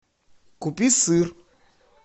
купи сыр